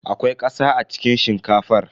Akwai ƙasa a cikin shinkafar.